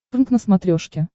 прнк на смотрешке